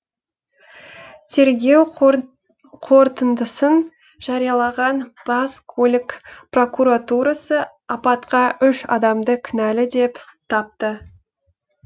тергеу қорытындысын жариялаған бас көлік прокуратурасы апатқа үш адамды кінәлі деп тапты